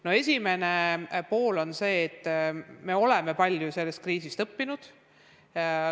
No esiteks, me oleme sellest kriisist palju õppinud.